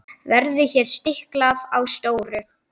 Verður hér stiklað á stóru.